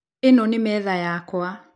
Ĩno nĩ metha yakwa